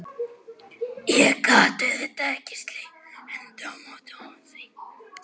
Ég gat auðvitað ekki slegið hendi á móti því.